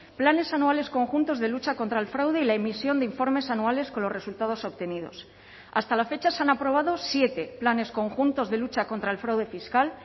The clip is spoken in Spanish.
planes anuales conjuntos de lucha contra el fraude y la emisión de informes anuales con los resultados obtenidos hasta la fecha se han aprobado siete planes conjuntos de lucha contra el fraude fiscal